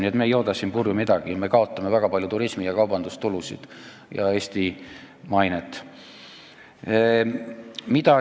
Nii et me ei jooda siin purju midagi, me kaotame väga palju turismi- ja kaubandustulusid ning Eesti mainet.